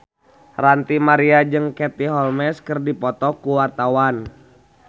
Ranty Maria jeung Katie Holmes keur dipoto ku wartawan